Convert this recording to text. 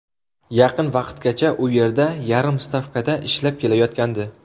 Yaqin vaqtgacha u yerda yarim stavkada ishlab kelayotgandi.